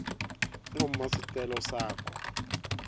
uma sicelo sakho